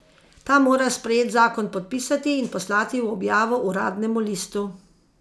Ta mora sprejet zakon podpisati in poslati v objavo uradnemu listu.